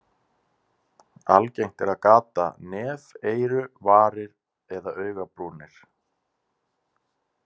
Algengt er að gata nef, eyru, varir eða augabrúnir.